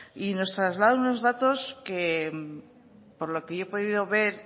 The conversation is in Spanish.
y nos traslada unos datos que por lo que yo he podido ver